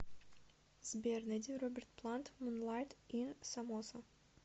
сбер найди роберт плант мунлайт ин самоса